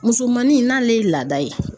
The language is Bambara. Musomanin n'ale ye laada ye